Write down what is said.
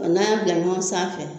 Ɔ n'a y'a bila ɲɔgɔn sanfɛ.